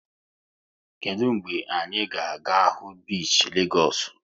Kedụ mgbe anyị ga-aga hụ bishi Legoosu?